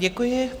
Děkuji.